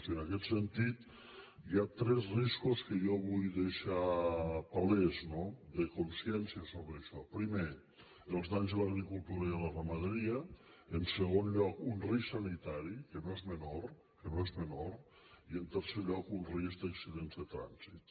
i en aquest sentit hi ha tres riscos que jo vull deixar palesos de consciència sobre això primer els danys a l’agricultura i a la ramaderia en segon lloc un risc sanitari que no és menor que no és menor i en tercer lloc un risc d’accidents de trànsit